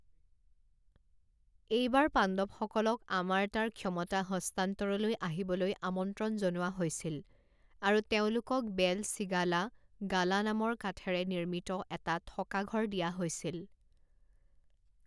এইবাৰ পাণ্ডৱসকলক আমাৰ্তাৰ ক্ষমতা হস্তান্তৰলৈ আহিবলৈ আমন্ত্ৰণ জনোৱা হৈছিল আৰু তেওঁলোকক বেল চিগালা গালা নামৰ কাঠেৰে নিৰ্মিত এটা থকা ঘৰ দিয়া হৈছিল।